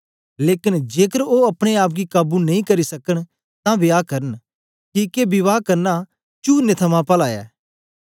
लेकन जेकर ओ अपने आप गी काबू नेई करी सकन तां विवाह करन किके विवाह करना चूअरनें थमां पला ऐ